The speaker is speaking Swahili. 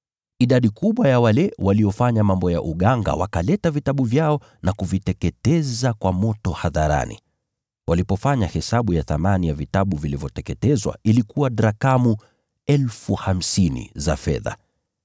Idadi kubwa ya wale waliofanya mambo ya uganga wakaleta vitabu vyao na kuviteketeza kwa moto hadharani. Walipofanya hesabu ya thamani ya vitabu vilivyoteketezwa ilikuwa drakma 50,000 za fedha.